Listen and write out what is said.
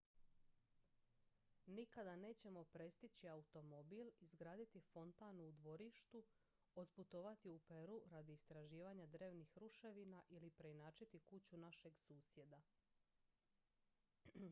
nikada nećemo prestići automobil izgraditi fontanu u dvorištu otputovati u peru radi istraživanja drevnih ruševina ili preinačiti kuću našeg susjeda